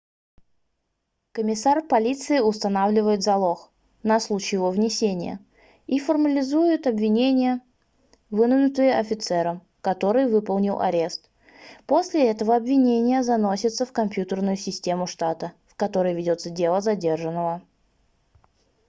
комиссар полиции устанавливает залог на случай его внесения и формализует обвинения выдвинутые офицером который выполнил арест. после этого обвинения заносятся в компьютерную систему штата в которой ведется дело задержанного